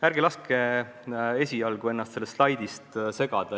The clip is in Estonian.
Ärge laske esialgu ennast sellest slaidist segada!